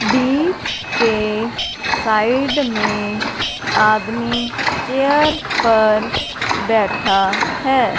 बीच के साइड में आदमी चेयर पर बैठा है।